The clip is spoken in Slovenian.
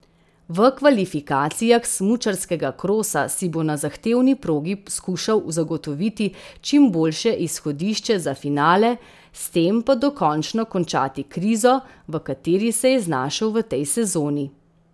V kvalifikacijah smučarskega krosa si bo na zahtevni progi skušal zagotoviti čim boljše izhodišče za finale, s tem pa dokončno končati krizo, v kateri se je znašel v tej sezoni.